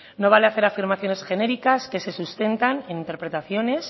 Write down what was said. no vale hacer afirmaciones genéricas que se sustentan en interpretaciones